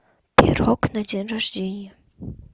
пирог на день рождения